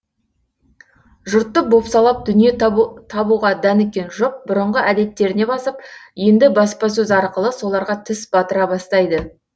жұртты бопсалап дүние табуға дәніккен жұп бұрынғы әдеттеріне басып енді баспасөз арқылы соларға тіс батыра бастайды